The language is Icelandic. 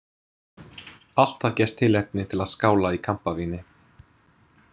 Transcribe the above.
Alltaf gefst tilefni til að skála í kampavíni.